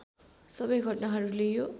सबै घटनाहरूले यो